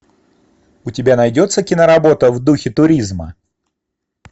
у тебя найдется киноработа в духе туризма